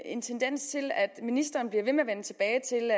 en tendens til at ministeren bliver ved med at vende tilbage til